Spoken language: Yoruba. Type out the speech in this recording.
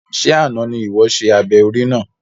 Ṣe àna ní iwọ ṣe abẹ orí náà?